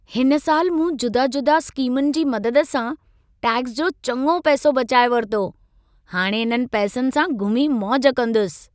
हिन साल मूं जुदा-जुदा स्कीमुनि जी मदद सां टैक्स जो चङो पैसो बचाए वरितो। हाणे इन्हनि पैसनि सां घुमी मौज कंदुसि।